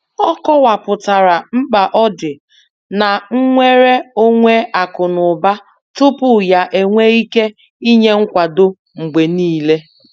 Ọ kọwapụtara mkpa ọdị na nnwere onwe akụ na ụba tupu ya enwee ike inye nkwado mgbe niile.